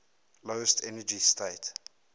lowest energy state